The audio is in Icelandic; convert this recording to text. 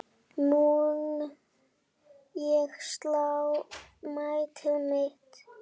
Mun ég slá metið mitt?